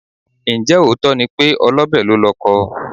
Ǹjẹ́ òótọ́ ni pé olọ́bẹ̀ lólọkọ?